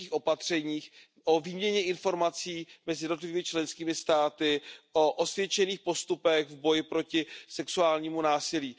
měkkých opatřeních, o výměně informací mezi jednotlivými členskými státy, o osvědčených postupech v boji proti sexuálnímu násilí.